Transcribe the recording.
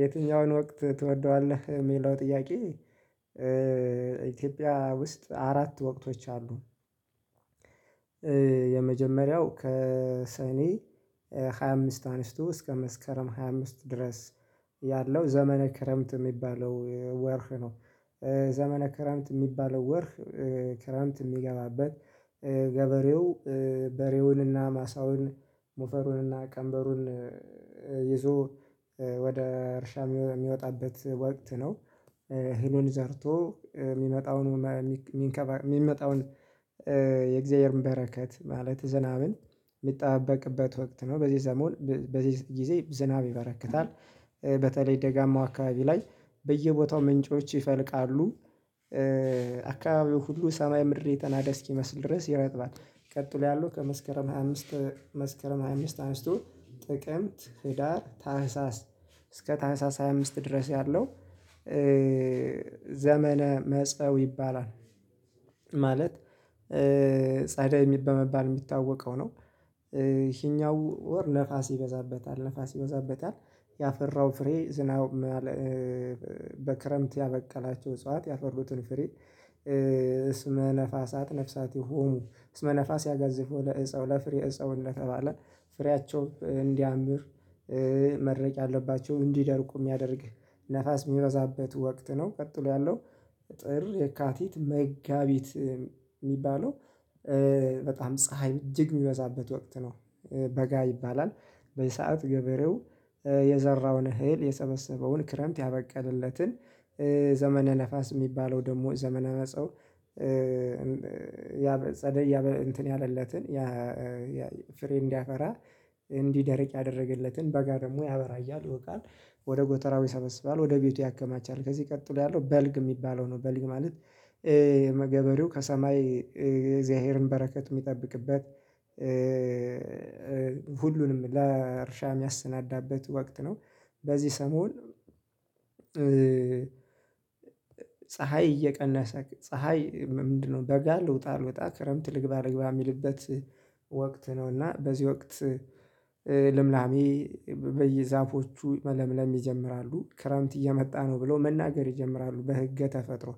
የትኛውን ወቅት ትወደዋለህ የሚለው ጥያቄ? ኢትዮጵያ ውስጥ አራት ወቅቶች አሉ። የመጀመሪያው ከሰኔ ሃያ አምስት አንስቱ እስከ መስከረም ሃያ አምስት ድረስ ያለው ዘመነ ክረምት የሚባለው ወር ነው። ዘመነ ክረምት የሚባለው ወር ክረምት የሚገባበት ገበሬው በሬውን እና ማሳውን ሞፈሩንና ቀንበሩን ይዞ ወደ እርሻ የሚወጣበት ወቅት ነው። እህሉን ዘርቶ የሚመጣውን የሚመጣውን የእግዚአብሔርን በረከት ማለት ዝናብን የሚጠባበቅበት ወቅት ነው በዚህ ዘመን በዚህ ጊዜ ዝናብ ይበረክታል። በተለይ ደጋማው አካባቢ ላይ በየቦታው ምንጮች ይፈልቃሉ። አካባቢው ሁሉ ሰማይ ምድር የተናደ እስኪመስል ድረስ ይረጥባል። ቀጥሎ ያለው ከመስከረም ሃያ አምስት መስከረም ሃያ አምስት አንስቶ ጥቅምት ህዳር ታህሳስ እስከ ታህሳስ ሃያ አምስት ድረስ ያለው ዘመነ መጸው ይባላል። ማለት ጻደይ በመባል የሚታወቀው ነው። ይሄኛው ወር ነፋስ ይበዛበታል ነፋስ ይበዛበታል። ያፈራው ፍሬ ዝናቡም በክረምት ያበቀላቸው እጽዋት ያፈሩትን ፍሬ ስመ ነፋሳት ነፍሳት ይሁኑ ስመ ነፋስ ያገዘፉ ለእጸው ለፍሬ እፀው እንደተባለ ፍሬያቸው እንዲያምር መድረቅ ያለባቸው እንዲደርቁ የሚያደርግ ነፋስ የሚበዛበት ወቅት ነው። ቀጥሎ ያለው ጥር የካቲት መጋቢት የሚባለው በጣም ፀሀይ እጅግ የሚበዛበት ወቅት ነው። በጋ ይባላል በዚህ ሰዓት ገበሬው የዘራውን እህል የሰበሰበውን ክረምት ያበቀለለትን ዘመነ ነፋስ የሚባለው ደግሞ ዘመነ መጸው። ያ ጸደይ ያ እንትን ያለለትን ያ ፍሬ እንዲያፈራ እንዲደርቅ ያደረገለትን በጋ ደግሞ ያበራያል ይወቃል። ወደ ጎተራው ይሰበስባል ወደ ቤቱ ያከማቻል ከዚህ ቀጥሎ ያለው በልግ የሚባለው ነው። በልግ ማለት የገበሬው ከሰማይ የእግዚአብሔርን በረከት የሚጠብቅበት ሁሉንም ለእርሻ የሚያሰናዳበት ወቅት ነው። በዚህ ሰሞን ፀሀይ እየቀነሰ ፀሀይ ምንድነው በጋ ልውጣ አልውጣ ክረምት ልግባ አልግባ የሚልበት ነው። እና በዚህ ወቅት ልምላሜ በየዛፎቹ መለምለም ይጀምራሉ ክረምት እየመጣ ነው ብለው መናገር ይጀምራሉ በህገ ተፈጥሮ